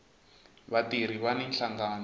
vatirhi vani nhlangano